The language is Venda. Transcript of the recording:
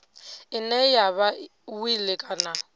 ine ya vha wili kana